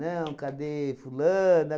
Não, cadê fulana?